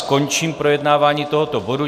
Končím projednávání tohoto bodu.